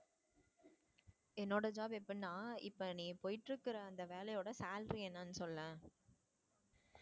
என்னோட job எப்படின்னா இப்ப நீ போயிட்டு இருக்க அந்த வேலையோட salary என்னன்னு சொல்லேன்.